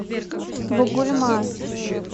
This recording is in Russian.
бугульма